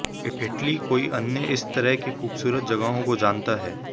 Italy कोई अन्य इस तरह के खूबसूरत जगहों को जानता है